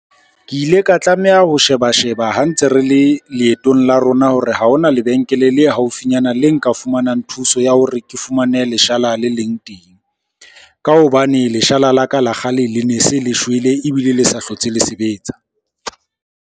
Ke ile ka tlameha ho sheba-sheba ha ntse re le leetong la rona hore ha hona lebenkele le haufinyana le nka fumanang thuso ya hore ke fumane leshala le leng teng. Ka hobane leshala la ka la kgale le ne se le shwele, ebile le sa hlotse le sebetsa.